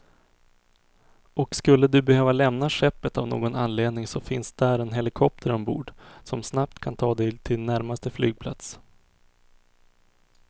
Och skulle du behöva lämna skeppet av någon anledning så finns där en helikopter ombord, som snabbt kan ta dig till närmsta flygplats.